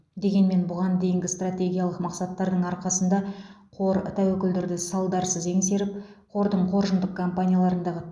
дегенмен бұған дейінгі стратегиялық мақсаттардың арқасында қор тәуекелдерді салдарсыз еңсеріп қордың қоржындық компанияларындағы